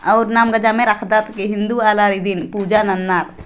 आउर नाम जम्मे रखदार ए हिन्दू वाला रिदीन पूजा नन्नार |